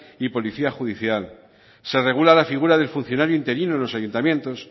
y policía judicial se regula la figura del funcionario interino en los ayuntamientos